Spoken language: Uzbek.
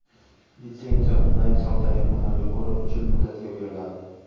Litsenziya onlayn savdo yakunlariga ko‘ra uch yil muddatga beriladi.